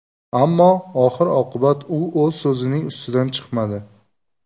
Ammo oxir-oqibat u o‘z so‘zining ustidan chiqmadi.